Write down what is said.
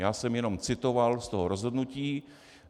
Já jsem jenom citoval z toho rozhodnutí.